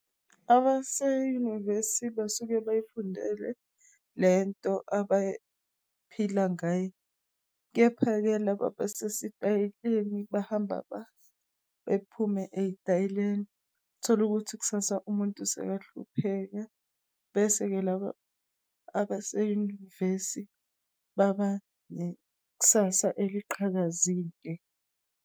Abaseyunivesi basuke bayifundele lento abay'phila ngayo, kepha-ke laba abasesitayeleni bahamba bephume eyitayileni. Uthole ukuthi kusasa umuntu usekahlupheka. Bese-ke laba abaseyunivesi babanekusasa eliqhakazile.